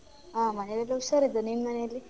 ಹ ಮನೇಲ್ ಎಲ್ಲ ಹುಷಾರ್ ಇದ್ದಾರೆ ನಿನ್ ಮನೆಲ್ಲಿ?